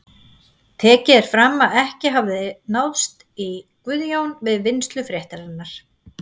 Tekið er fram að ekki hafi náðst í Guðjón við vinnslu fréttarinnar.